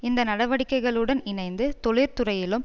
இந்த நடவடிக்கைகளுடன் இணைந்து தொழிற்துறையிலும்